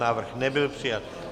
Návrh nebyl přijat.